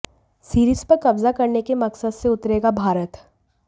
series पर कब्जा करने के मकसद से उतरेगा भारत